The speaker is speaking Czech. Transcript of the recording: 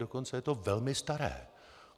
Dokonce je to velmi staré.